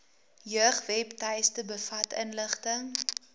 jeugwebtuiste bevat inligting